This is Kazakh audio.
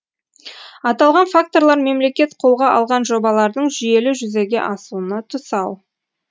аталған факторлар мемлекет қолға алған жобалардың жүйелі жүзеге асуына тұсау